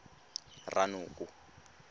ranoko